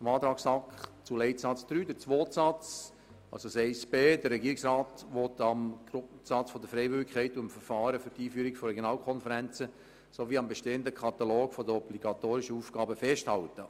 Zur Planungserklärung 1b der SAK zu Leitsatz 3 beziehungsweise zum zweiten Satz: Der Regierungsrat will am Grundsatz der Freiwilligkeit und dem Verfahren für die Einführung von Regionalkonferenzen sowie am bestehenden Katalog der obligatorischen Aufgaben festhalten.